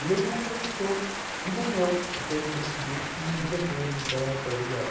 E ele não acreditou, e nem eu, porque ele decidiu que iria ter então o colegial.